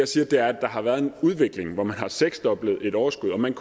siger er at der har været en udvikling hvor man har seksdoblet et overskud og man